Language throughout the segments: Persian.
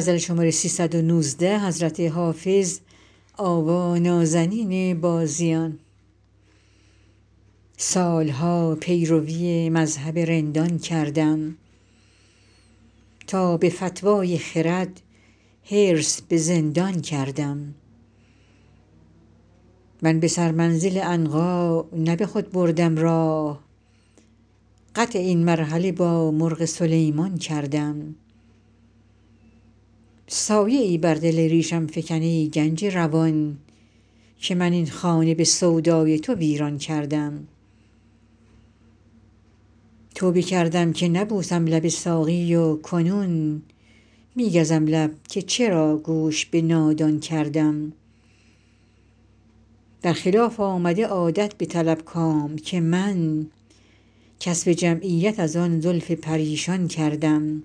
سال ها پیروی مذهب رندان کردم تا به فتوی خرد حرص به زندان کردم من به سرمنزل عنقا نه به خود بردم راه قطع این مرحله با مرغ سلیمان کردم سایه ای بر دل ریشم فکن ای گنج روان که من این خانه به سودای تو ویران کردم توبه کردم که نبوسم لب ساقی و کنون می گزم لب که چرا گوش به نادان کردم در خلاف آمد عادت بطلب کام که من کسب جمعیت از آن زلف پریشان کردم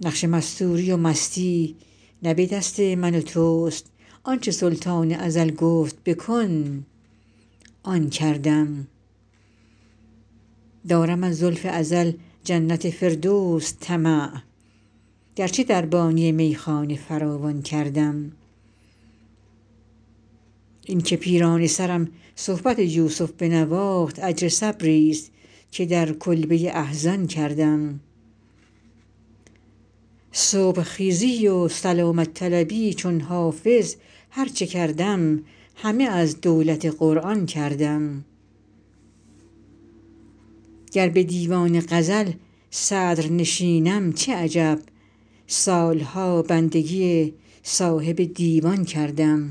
نقش مستوری و مستی نه به دست من و توست آن چه سلطان ازل گفت بکن آن کردم دارم از لطف ازل جنت فردوس طمع گرچه دربانی میخانه فراوان کردم این که پیرانه سرم صحبت یوسف بنواخت اجر صبریست که در کلبه احزان کردم صبح خیزی و سلامت طلبی چون حافظ هر چه کردم همه از دولت قرآن کردم گر به دیوان غزل صدرنشینم چه عجب سال ها بندگی صاحب دیوان کردم